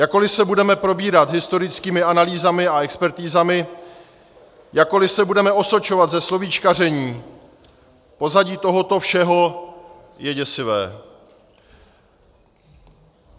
Jakkoliv se budeme probírat historickými analýzami a expertizami, jakkoliv se budeme osočovat ze slovíčkaření, pozadí tohoto všeho je děsivé.